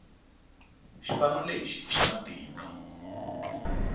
xipano lexi i xa matimba